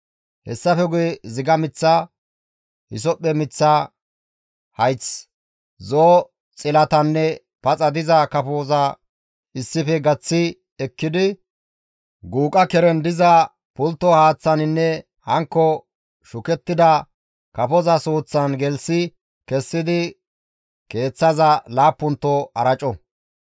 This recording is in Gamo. hessafe guye ziga mith, hisophphe miththa hayth, zo7o xilatanne paxa diza kafoza issife gaththi ekkidi guuqa keren diza pultto haaththaninne hankko shukettida kafoza suuththan gelththi kessidi keeththaza laappunto araco.